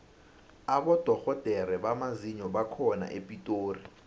abodorhodere bamazinyo bakhona epitori